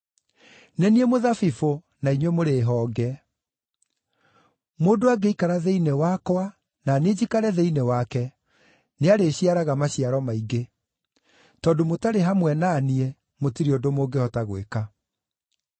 “Nĩ niĩ mũthabibũ, na inyuĩ mũrĩ honge. Mũndũ angĩikara thĩinĩ wakwa na niĩ njikare thĩinĩ wake, nĩarĩciaraga maciaro maingĩ; tondũ mũtarĩ hamwe na niĩ mũtirĩ ũndũ mũngĩhota gwĩka.